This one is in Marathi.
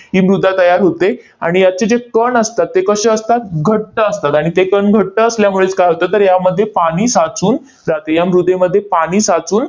ही मृदा तयार होते. आणि याचे जे कण असतात, ते कसे असतात? घट्ट असतात. आणि ते कण घट्ट असल्यामुळेच काय होतं? तर यामध्ये पाणी साचून राहते. या मृदेमध्ये पाणी साचून